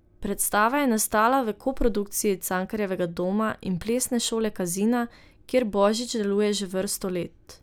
Predstava je nastala v koprodukciji Cankarjevega doma in plesne šole Kazina, kjer Božić deluje že vrsto let.